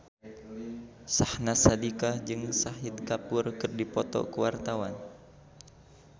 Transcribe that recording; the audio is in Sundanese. Syahnaz Sadiqah jeung Shahid Kapoor keur dipoto ku wartawan